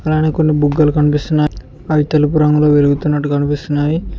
అలానే కొన్ని బుగ్గలు కనిపిస్తున్నాయ్ అవి తెలుపు రంగులో వెలుగుతున్నట్టు కనిపిస్తున్నావి.